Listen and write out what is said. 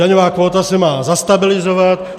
Daňová kvóta se má zastabilizovat.